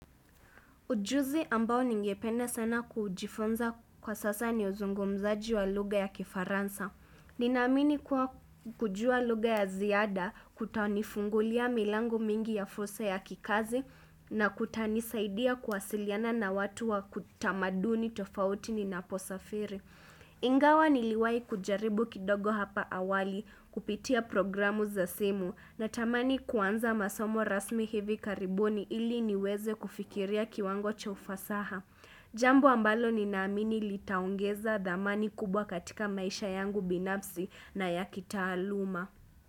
Ujuzi ambao ningependa sana kujifunza kwa sasa ni uzungumzaji wa lugha ya kifaransa. Ninaamini kwa kujua lugha ya ziada kutanifungulia milango mingi ya fursa ya kikazi na kutanisaidia kuwasiliana na watu wa kitamaduni tofauti ni naposafiri. Ingawa niliwai kujaribu kidogo hapa awali kupitia programu za simu natamani kuanza masomo rasmi hivi karibuni ili niweze kufikiria kiwango cha ufasaha. Jambo ambalo ni naamini litaongeza dhamani kubwa katika maisha yangu binafzi na ya kitaaluma.